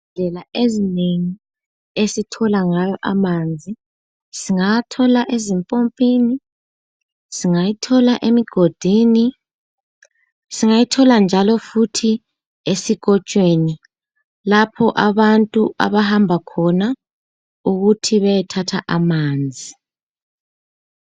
Indlela ezinengi esithola ngayo amanzi, singawathola ezimpompini, singayithola emigodini, singayithola njalo futhi esikotshweni lapho abantu abahamba khona ukuthi beyethatha amanzi.